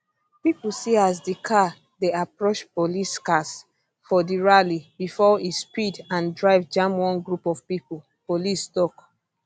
pipo see as di car dey approach police cars for di rally bifor e speed and drive jam one group of pipo police tok